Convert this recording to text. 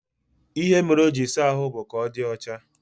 Ihe mere o jiri saa ahụ bụ ka ọ dị ọcha